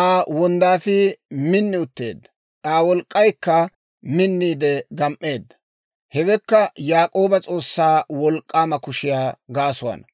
Aa wonddaafii min utteedda; Aa wolk'k'aykka minniide gam"eedda. Hewekka Yaak'ooba S'oossaa Wolk'k'aama kushiyaa gaasuwaana,